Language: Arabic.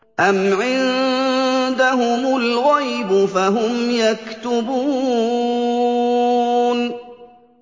أَمْ عِندَهُمُ الْغَيْبُ فَهُمْ يَكْتُبُونَ